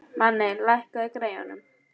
Manni, lækkaðu í græjunum.